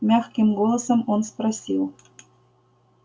мягким голосом он спросил